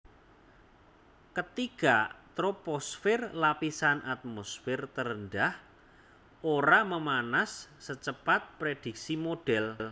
Ketiga troposfer lapisan atmosfer terendah ora memanas secepat prediksi modhèl